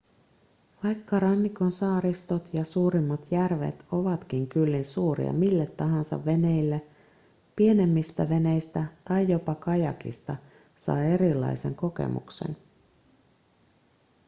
vaikka rannikon saaristot ja suurimmat järvet ovatkin kyllin suuria mille tahansa veneille pienemmistä veneistä tai jopa kajakista saa erilaisen kokemuksen